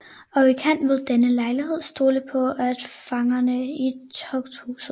Og I kan ved denne lejlighed stole på fangerne i tugthuset